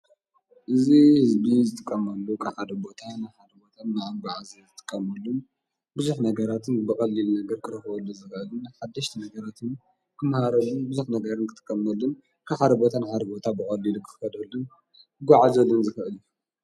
እዝ ሕዝቢ ዝትቀመሉ ኽኻደቦታን ሓድቦታ ማበኣዘ ዘትቀምሉን ብዙኅ ነገራትን በቐልል ነገር ክረህወሉ ዘኸእልን ሓድሽት ነገረትን ክምሃረሉን ብዘት ነገርን ክትቀመሉን ካኻደቦታን ሃድቦታ ብቐሊድ ክኸደሉን ጐዓዘድን ዝኸእልን እዩ።